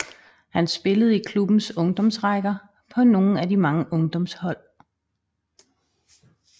Han spillede i klubbens ungdomsrækker på nogle af de mange ungdomshold